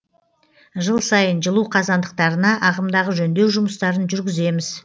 жыл сайын жылу қазандықтарына ағымдағы жөндеу жұмыстарын жүргіземіз